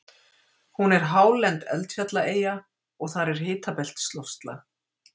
hún er hálend eldfjallaeyja og þar er hitabeltisloftslag